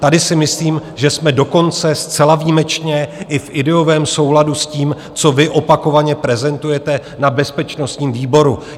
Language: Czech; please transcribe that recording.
Tady si myslím, že jsme dokonce zcela výjimečně i v ideovém souladu s tím, co vy opakovaně prezentujete na bezpečnostním výboru.